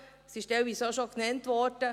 Es wurde teilweise auch schon genannt: